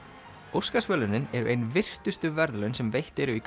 Óskarsverðlaunin eru ein virtustu verðlaun sem veitt eru í